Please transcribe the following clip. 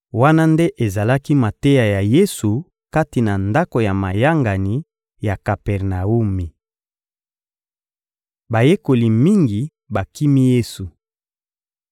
Wana nde ezalaki mateya ya Yesu kati na ndako ya mayangani ya Kapernawumi. Bayekoli mingi bakimi Yesu